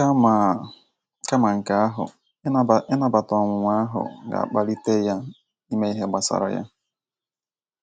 Kama Kama nke ahụ, ịnabata ọnwunwa ahu ga-akpalite ya ime ihe gbasara ya